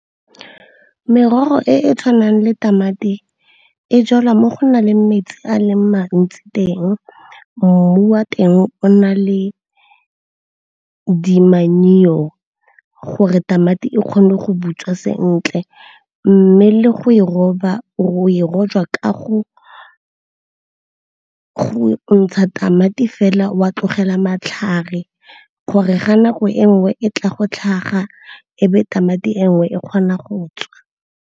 ke merogo e e tshwanang le tamati e jalwa mo go na le metsi a le mantsi teng mmu wa teng o na le dinamane leo go re tamati e kgone go butswa sentle mme le go e roba o e rojwa kago go ntsha tamati fela wa tlogela matlhare gore ga nako e nngwe e tla go tlhaga e be tamati e nngwe e kgona go tswa.